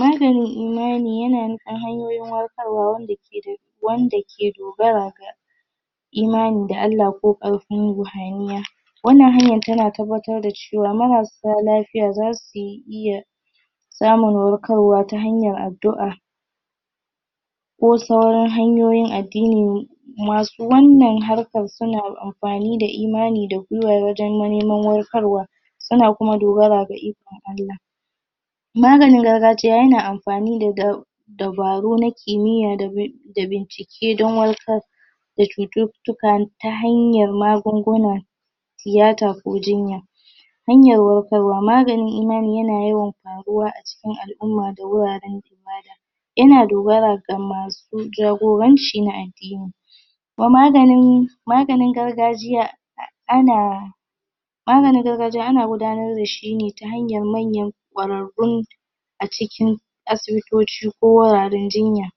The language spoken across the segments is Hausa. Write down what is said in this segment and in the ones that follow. maganin iyali yana nufin hanyoyin warkarwa wanda ke dogara ga imani da allah ko ƙarfin ruhaniya wannan hanyan tana tabbatar da cewa marasa lafiya zasu iya samun warkarwa ta hanyan addu'a ko sauran hanyoyin addini masu wannan harkan suna amfani da imani da wajen neman warkarwa suna kuma dogara da ikon allah maganin gargajiya yana amfani da dab dabaru na kimiya da bincike don warkar cuttukar ta hanyar magunguna tiyata ko jinya hanyar warkarwa maganin imani yana yawa ƙaruwa acikin al'umma da wuaren ibada yana dogara da masu jagoranci na addini da maganin magnin gargajiya ana maganin gargajiya ana gudanar dashi ta hanyan ƙarrarun asibitoci ko wuraren jinya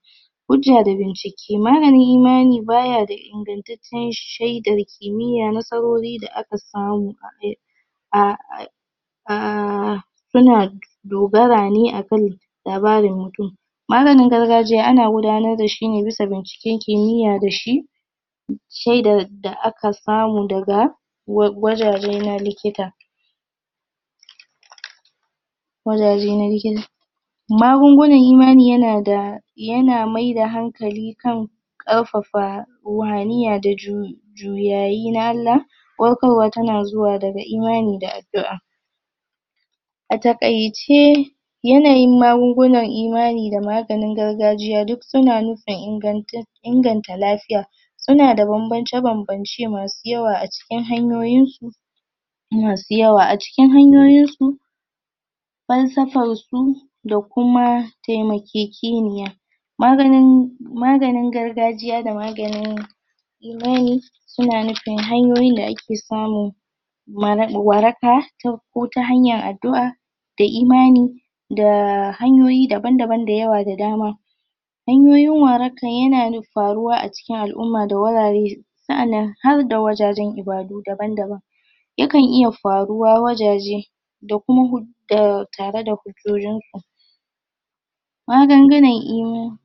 hujja da bincike maganin imani baya da ingantaccen shaidar kimiya nasarori da aka samu a aiki? ah yana dogara ne akai labarin mutum maganin gargajiya ana gudanar dashi bisa bincike kimiya dashi shaidar da aka samu daga wajajen na likita waja na likita magungunan imani yana yana maida hankali kan ƙarfafa ruhaniya da juyi juyayi na allah warkarwa tana zuwa daga imani da addu'a a takaice yanayin magungunan imani da maganin gargajiya duk suna nufin inganta lafiya suna da banbance masu yawa acikin hanyoyinsu masu yawa acikin hanyoyinsu falsafalsu da kuma temakekeniya maganin gargajiya da maganin imani suna nufin hanyoyin da ake samun waraka ko tahanyan addu'a da imani da hanyoyi daban daban da yawa da dama hanyoyin waraka ya faruwa acikin al'umma da wurare sa'annan harda wurare ibadu daban daban yakan iya faruwa wajaje da kuma tare da hujjojinsu magungunan imani